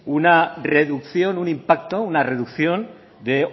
una reducción un impacto una reducción de